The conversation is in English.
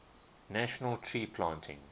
national tree planting